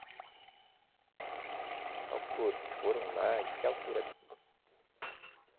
A altura, eles foram lá, de que altura?